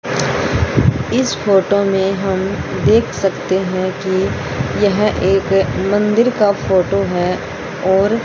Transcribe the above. इस फोटो मे हम देख सकते हैं कि यह एक मंदिर का फोटो है और--